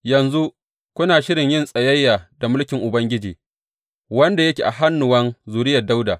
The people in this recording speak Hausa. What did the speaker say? Yanzu kuna shirin yin tsayayya da mulkin Ubangiji, wanda yake a hannuwan zuriyar Dawuda.